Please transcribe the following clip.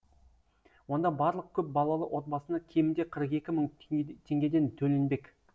онда барлық көп балалы отбасына кемінде қырық екі мың теңгеден төленбек